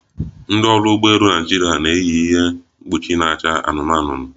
Ndị ọrụ ụgbọ elu Naịjirịa na-eyi ihe mkpuchi na-acha anụnụ anụnụ